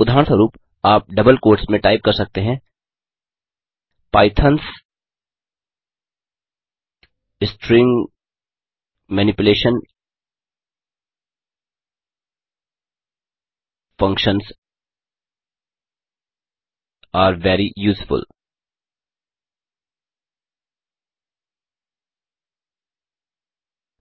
उदाहरणस्वरुप आप double quotes में टाइप कर सकते हैं Python's string manipulation functions are very useful